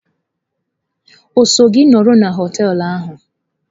O so gi nọrọ na họteelu ahụ?